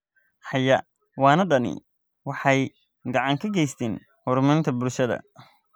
Xayawaanadani waxay gacan ka geystaan ??horumarinta bulshada.